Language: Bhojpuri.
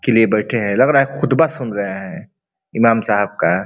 के लिए बैठे है लग रहा है खुदबा सुन रहे है ईमाम साब का।